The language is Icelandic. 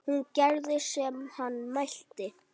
Hún gerði sem hann mælti.